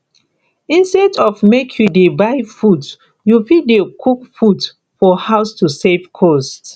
instead of make you dey buy food you fit dey cook food for house to save cost